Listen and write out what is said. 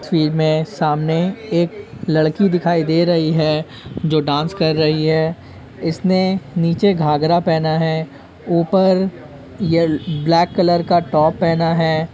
इस तस्वीर में सामने एक लड़की दिखाई दे रही है जो डांस कर रही है। इसने नीचे घाँघरा पहना है ऊपर य ब्लैक कलर का टॉप पहना है।